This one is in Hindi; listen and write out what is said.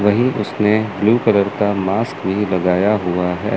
वहीं उसने ब्लू कलर का मास्क भी लगाया हुआ है।